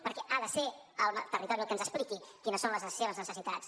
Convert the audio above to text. perquè ha de ser el territori el que ens expliqui quines són les seves necessitats